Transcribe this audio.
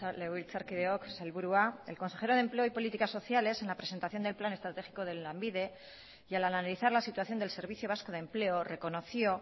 legebiltzarkideok sailburua el consejero de empleo y políticas sociales en la presentación del plan estratégico de lanbide y al analizar la situación del servicio vasco de empleo reconoció